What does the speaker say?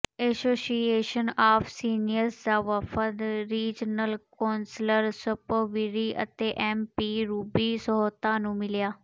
association of seniors ਦਾ ਵਫਦ regional councillor ਸਪਰੋਵਿਰੀ ਅਤੇ ਐਮ ਪੀ ਰੂਬੀ ਸਹੋਤਾ ਨੂੰ ਮਿਲਿਆ